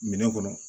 Minɛn kɔnɔ